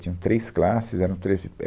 Tinham três classes, eram eh